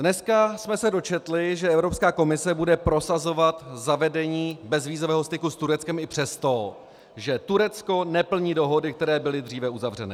Dneska jsme se dočetli, že Evropská komise bude prosazovat zavedení bezvízového styku s Tureckem i přesto, že Turecko neplní dohody, které byly dříve uzavřeny.